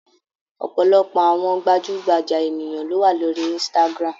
Ọ̀pọ̀lọpọ̀ àwọn gbajúgbajà ènìyàn ló wà lórí Instagram.